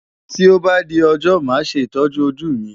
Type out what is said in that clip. Tí ó bá di ọjọ́ màá ṣe ìtọ́jú ojú mi.